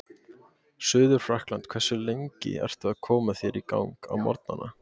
Suður-Frakkland Hversu lengi ertu að koma þér í gang á morgnanna?